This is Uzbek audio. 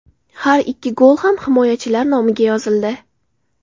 Har ikki gol ham himoyachilar nomiga yozildi.